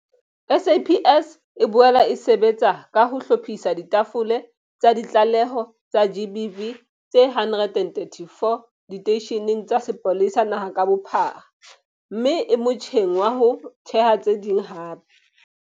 SAPS e boela e sebetsa ka ho hlophisa ditafole tsa ditlaleho tsa GBV tse 134 diteisheneng tsa sepolesa naha ka bophara mme e motjheng wa ho theha tse ding hape.